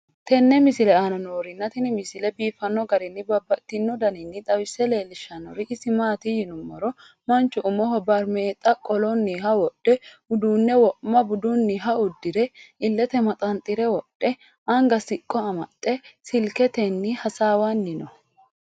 tenne misile aana noorina tini misile biiffanno garinni babaxxinno daniinni xawisse leelishanori isi maati yinummoro manchu umoho barimeexxa qolonniha wodhe, uduunne wo'ma budunniha udiire, iillette maxanxxire wodhe, anga siqqo amaxxe, silikettenni hasaawanni noo